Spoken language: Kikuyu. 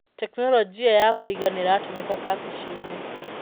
Tekinoronjia ya kũiga nĩratũmĩka kabici-inĩ.